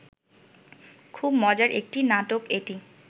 খুব মজার একটি নাটক এটি